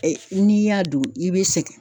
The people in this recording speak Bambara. Ɛ n'i y'a don i bɛ sɛgɛn.